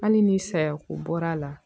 Hali ni sayako bɔr'a la